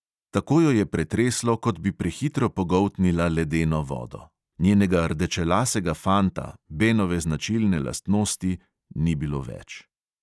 Tako jo je pretreslo, kot bi prehitro pogoltnila ledeno vodo; njenega rdečelasega fanta, benove značilne lastnosti, ni bilo več.